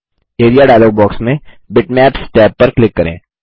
area dialog box में bitmaps tab पर click करें